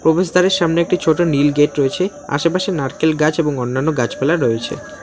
প্রবেশদ্বারের সামনে একটি ছোট নীল গেট রয়েছে আশেপাশে নারকেল গাছ এবং অন্যান্য গাছপালা রয়েছে।